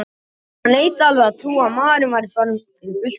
Konan neitaði alveg að trúa því að maðurinn væri farinn fyrir fullt og allt.